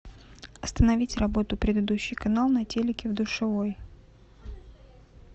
остановить работу предыдущий канал на телике в душевой